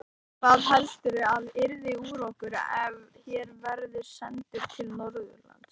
Hvað heldurðu að yrði úr okkur ef her verður sendur til Norðurlands?